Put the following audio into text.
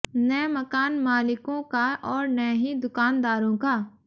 न मकान मालिकों का और न ही दुकानदारों का